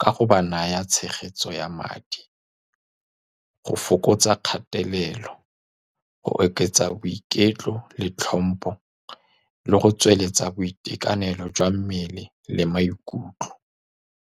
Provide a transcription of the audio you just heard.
ka go ba naya tshegetso ya madi, go fokotsa kgatelelo, go oketsa boiketlo le tlhompo, le go tsweletsa boitekanelo jwa mmele le maikutlo.